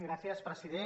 gràcies president